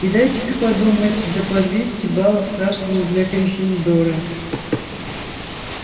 и дайте-ка подумать да по двести баллов каждому для гриффиндора